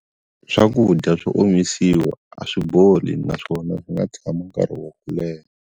Swakudya swo omisiwa a swi boli naswona swi nga tshami nkarhi wo leha.